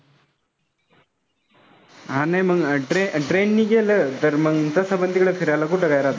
आणि मग train नी गेलो. तर मग तसं पण फिरायला कुठं जायचा?